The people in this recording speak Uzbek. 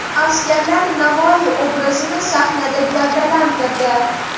Askarlar Navoiy obrazini sahnada gavdalantirdi.